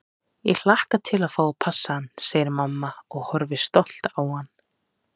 Ég hlakka til að fá að passa hann, segir mamma og horfir stolt á hann.